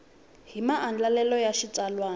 hi maandlalelo ya xitsalwana yo